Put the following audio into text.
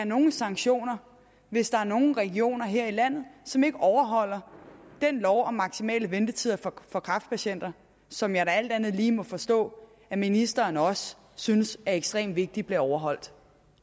nogen sanktioner hvis der er nogle regioner her i landet som ikke overholder den lov om maksimale ventetider for kræftpatienter som jeg da alt andet lige må forstå at ministeren også synes er ekstremt vigtigt bliver overholdt